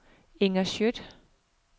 Inger Skjødt